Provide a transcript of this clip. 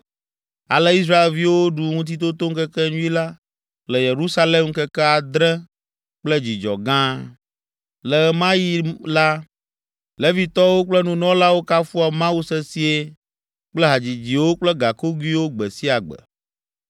Ale Israelviwo ɖu Ŋutitotoŋkekenyui la le Yerusalem ŋkeke adre kple dzidzɔ gã. Le ɣe ma ɣi la, Levitɔwo kple nunɔlawo kafua Mawu sesĩe kple hadzidziwo kple gakogoewo gbe sia gbe.